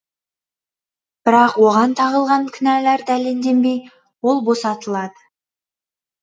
бірақ оған тағылған кінәлар дәлелденбей ол босатылады